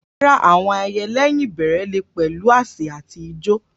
Rárá, àwọn ayẹyẹ lẹ́yìn ìbẹ̀rẹ̀ lè pẹ̀lú àsè àti ijó.